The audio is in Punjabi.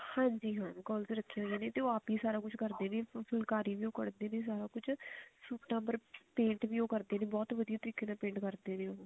ਹਾਂਜੀ ਹਾਂ ਰੱਖੇ ਹੋਏ ਹੋਏ ਉਹ ਆਪ ਨੀ ਸਾਰਾ ਕੁਝ ਕਰਦੇ ਨੇ ਫੁਲਕਾਰੀ ਵੀ ਕੱਢਦੇ ਨੇ ਸਾਰਾ ਕੁਛ ਸੂਟਾ ਪਰ paint ਵੀ ਕਰਦੇ ਨੇ ਬਹੁਤ ਵਧੀਆ ਤਰੀਕੇ ਨਾਲ paint ਕਰਦੇ ਨੇ ਉਹ